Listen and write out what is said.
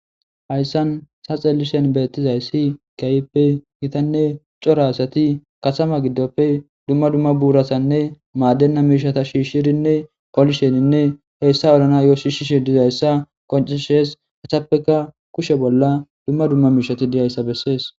Hayssan ta xeellishin beettizayssi keehippe gitanne cora asati katama giddoppe dumma dumma buuratanne maadenna miishata shiishidinne kolishenne hessa holanayo shiishishe dizayssa qonccisees. Eetappekka kushe bolla dumma dumma miisheti dizayssa bessees.